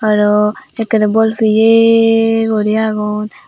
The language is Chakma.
arow bekkuney bolpeye guri agon.